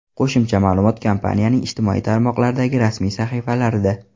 Qo‘shimcha ma’lumot kompaniyaning ijtimoiy tarmoqlardagi rasmiy sahifalarida.